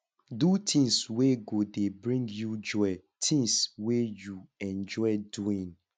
do things wey go dey bring you joy things wey you enjoy doing